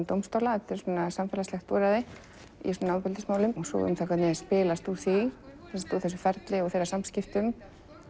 dómstóla þetta er samfélagslegt úrræði í svona ofbeldismálum og um það hvernig spilast úr því úr þessu ferli og þeirra samskiptum